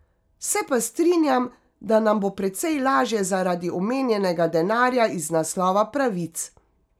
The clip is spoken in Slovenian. Se pa strinjam, da nam bo precej lažje zaradi omenjenega denarja iz naslova pravic.